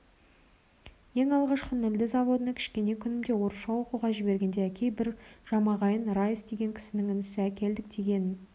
ең алғашқы нілді заводына кішкене күнімде орысша оқуға жібергенде әкей бір жамағайын райыс деген кісінің інісі әкілдік дегеннің